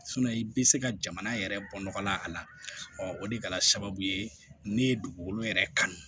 i bɛ se ka jamana yɛrɛ bɔ nɔgɔ la a la o de kɛra sababu ye ne ye dugukolo yɛrɛ kanu